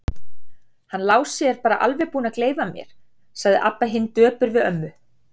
Hann Lási er bara alveg búinn að gleyma mér, sagði Abba hin döpur við ömmu.